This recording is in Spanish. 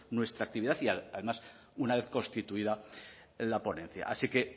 nuestra actividad y además una vez constituida la ponencia así que